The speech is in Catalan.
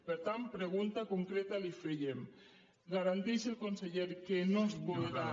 per tant pregunta concreta li fèiem garanteix el conseller que no es podrà